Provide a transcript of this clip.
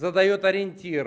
задаёт ориентир